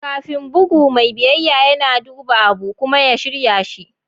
Kafin bugu, mai biyayya yana duba abu kuma ya shirya shi.